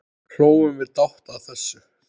Hlógum við dátt að þessu.